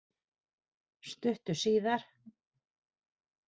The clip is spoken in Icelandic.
Stuttu síðar